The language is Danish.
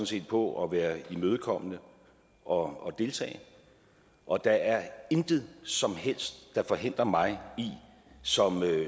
set på at være imødekommende og deltage og der er intet som helst der forhindrer mig i som